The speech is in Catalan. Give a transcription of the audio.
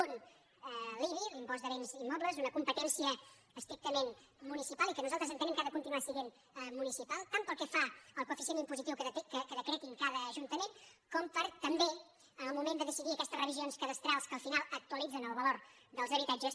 un l’ibi l’impost de béns immobles una competència estrictament municipal i que nosal·tres entenem que ha de continuar essent municipal tant pel que fa al coeficient impositiu que decreti cada ajuntament com per també en el moment de decidir aquestes revisions cadastrals que al final actualitzen el valor dels habitatges